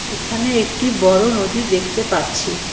এখানে একটি বড় নদী দেখতে পারছি।